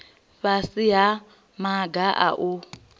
fhasi ha maga a u